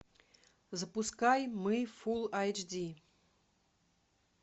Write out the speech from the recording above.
запускай мы фул айч ди